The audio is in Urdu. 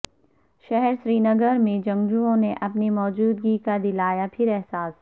شہر سرینگر میں جنگجوئوں نے اپنی موجودگی کا دلایا پھر احساس